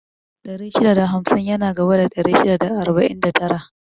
Ɗari shida da hamsin yana gaba da ɗari shida da arba'in da tara